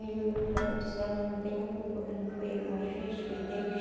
Ele olhou para ela e disse, olha, não tenho culpa, que não fui eu que me fiz, foi Deus.